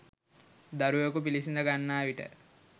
දරුවකු පිළිසිඳ ගන්නා විට